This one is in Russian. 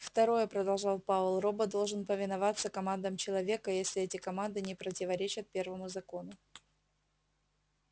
второе продолжал пауэлл робот должен повиноваться командам человека если эти команды не противоречат первому закону